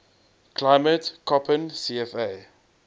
climate koppen cfa